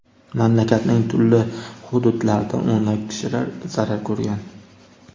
Mamlakatning turli hududlarida o‘nlab kishilar zarar ko‘rgan.